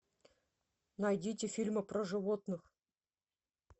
найдите фильмы про животных